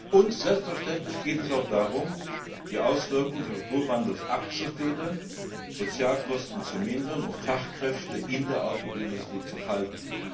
Und selbstverständlich geht es auch darum, die Auswirkungen des Strukturwandels abzufedern, Sozialkosten zu mindern und Fachkräfte in der Automobilbranche zu halten.